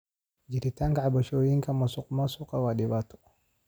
Jiritaanka cabashooyinka musuqmaasuqa waa dhibaato.